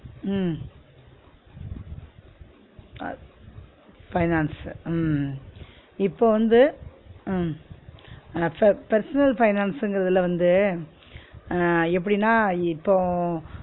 உம் அஹ் finance உ உம் இப்ப வந்து உம் personal finance ங்கிறதுல வந்து அஹ் எப்டினா இப்போம்